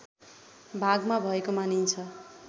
भागमा भएको मानिन्छ